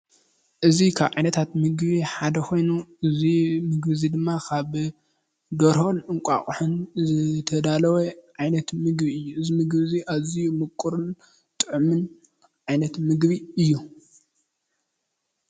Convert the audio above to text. እዚ ካብ ዓይነታት ምግቢ ሓደ ኮይኑ እዚ ምግቢ እዚ ድማ ካብ ደርሆን እንቛቑሖን ዝተዳለወ ዓይነት ምግቢ እዩ፡፡ እዚ ምግቢ እዚ ኣዝዩ ሙቁርን ጥዑሙን ዓይነት ምግቢ እዩ፡፡